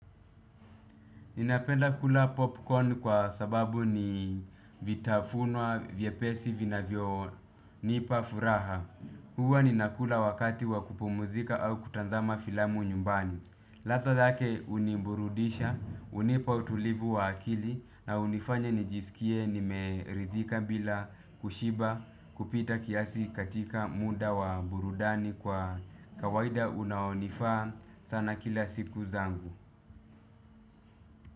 Ninapenda kula popcorn kwa sababu ni vitafunwa vyepesi vinavyo nipa furaha. Hua ninakula wakati wa kupumzika au kutazama filamu nyumbani. Lata dhake unimburudisha, unipa utulivu wa akili na unifanya nijisikie nimeridhika bila kushiba kupita kiasi katika muda wa burudani kwa kawaida unaonifaa sana kila siku zangu.